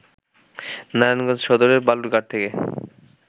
নারায়ণগঞ্জ সদরের বালুর ঘাট থেকে